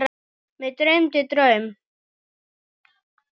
Mig dreymdi draum.